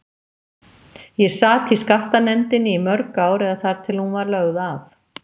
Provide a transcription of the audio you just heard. Ég sat í skattanefndinni í mörg ár eða þar til hún var lögð af.